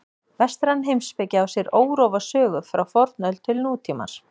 Vestræn heimspeki á sér órofa sögu frá fornöld til nútímans.